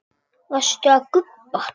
Varstu að gubba?